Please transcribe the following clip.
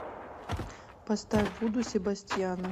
поставь вуду себастьяна